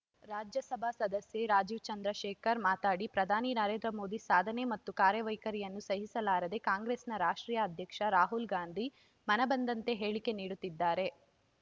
ರಾಜ್ಯಸಭಾ ಸದಸ್ಯ ರಾಜೀವ್‌ ಚಂದ್ರಶೇಖರ್‌ ಮಾತಾಡಿ ಪ್ರಧಾನಿ ನರೇಂದ್ರ ಮೋದಿ ಸಾಧನೆ ಮತ್ತು ಕಾರ್ಯವೈಖರಿಯನ್ನು ಸಹಿಸಲಾರದೆ ಕಾಂಗ್ರೆಸ್‌ನ ರಾಷ್ಟ್ರೀಯ ಅಧ್ಯಕ್ಷ ರಾಹುಲ್‌ ಗಾಂಧಿ ಮನಬಂದಂತೆ ಹೇಳಿಕೆ ನೀಡುತ್ತಿದ್ದಾರೆ